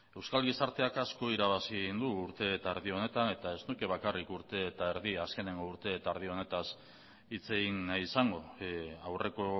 euskal gizarteak asko irabazi egin du urte eta erdi honetan eta ez nuke bakarrik urte eta erdi azkeneko urte eta erdi honetaz hitz egin nahi izango aurreko